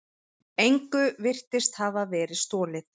Engu virtist hafa verið stolið.